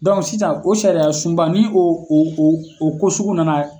sisan o sariya sunba ni o o o o kosugu nana